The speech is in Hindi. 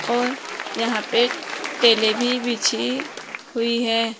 और यहां पे टाइले भी बिछी हुई है।